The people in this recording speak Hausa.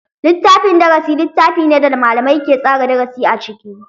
Littafin darasi littafi ne da malamai ke tsara darasi a ciki.